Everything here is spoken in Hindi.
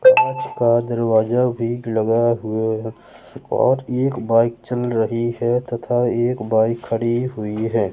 कांच का दरवाजा भी लगा हुए और एक बाइक चल रही है तथा एक बाइक खड़ी हुई है।